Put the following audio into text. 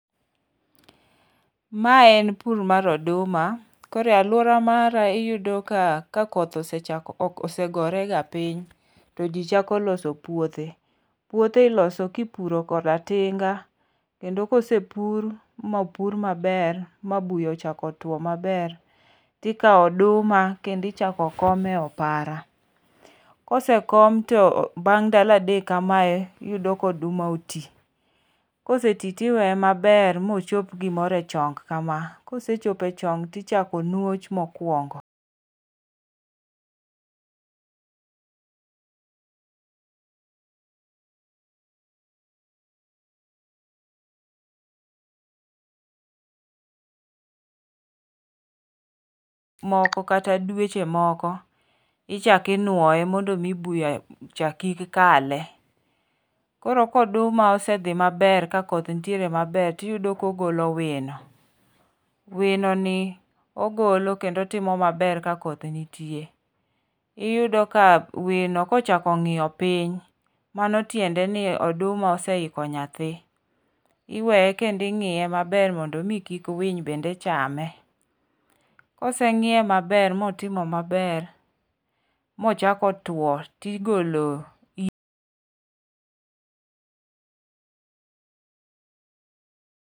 Mae en pur mar oduma. Koro e aluora mara iyudo ka koth osegore ga piny to ji chako loso puothe. Puothe iloso kipuro koda tinga. Kendo kosepur ma opur maber ma buya ochako tuo maber tikawo oduma kendo ichako kom e opara. Kosekom to bang' ndalo adek kamae iyudo ka oduma oti. Koseti tiweye maber mochop gimoro e chong kama kosechopoo e chong tichako nuoch mokwongo moko kata dweche moko ichak inuoye mondo mi buya chak kik kale. Koro koduma osedhi maber ka koth nitiere maber tiyudo kogolo wino. Wino ni ogolo kendo timo maber ka koth nitue. Iyudo ka wino kochako ng'iyo piny mano tiende ni oduma oseiko nyathi. Iweye kendo ing'iye maber mondo mi kik winy bende chame. Koseng'iye maber motimo maber mochako tuo tigolo.